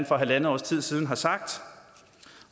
for halvandet års tid siden har sagt